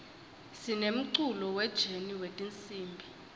sinemculo we jeni wetinsimb